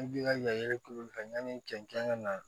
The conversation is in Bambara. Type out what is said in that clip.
An bi ka yala kulu kɛ yani cɛncɛn ka na